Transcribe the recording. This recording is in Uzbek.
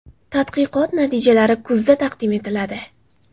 Tadqiqot natijalari kuzda taqdim etiladi.